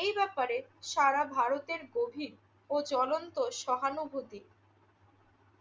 এই ব্যাপারে সারা ভারতের গভীর ও জ্বলন্ত সহানুভূতি